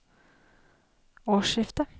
årsskiftet